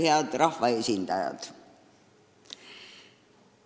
Head rahvaesindajad!